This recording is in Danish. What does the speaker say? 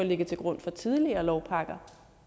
ligget til grund for tidligere lovpakker